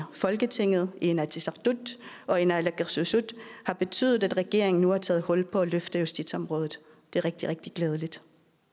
folketinget i inatsisartut og i naalakkersuisut har betydet at regeringen nu har taget hul på at løfte justitsområdet det er rigtig rigtig glædeligt